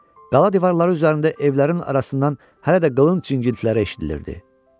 Qala divarları üzərində evlərin arasından hələ də qalın çingiltilər eşidilirdi.